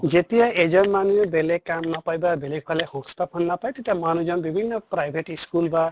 যেতিয়া এজন মানুহই বেলেগ কাম নাপায় বা বেলেগ ফালে সংস্থাপন নাপায় তেতিয়া মানুহ জন private school বা